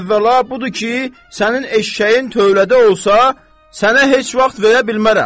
Əvvəla budur ki, sənin eşşəyin tövlədə olsa, sənə heç vaxt verə bilmərəm.